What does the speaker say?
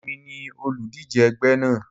Èmi ni olùdíje ẹgbẹ́ náà.